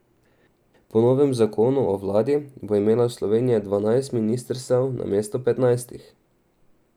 Po novem zakonu o vladi bo imela Slovenija dvanajst ministrstev namesto petnajstih.